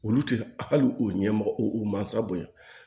Olu tɛ ali u ɲɛmɔgɔ u mansaw bonya